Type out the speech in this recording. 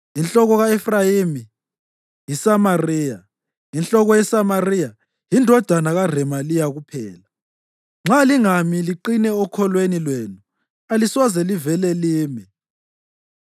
Inhloko ka-Efrayimi yiSamariya, inhloko yeSamariya yindodana kaRemaliya kuphela. Nxa lingami liqine okholweni lwenu alisoze livele lime.’ ”